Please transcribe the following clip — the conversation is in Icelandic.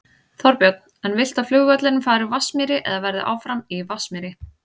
Þorbjörn: En viltu að flugvöllurinn fari úr Vatnsmýri eða verði áfram í Vatnsmýri?